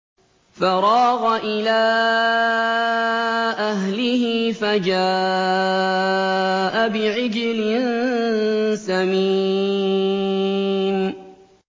فَرَاغَ إِلَىٰ أَهْلِهِ فَجَاءَ بِعِجْلٍ سَمِينٍ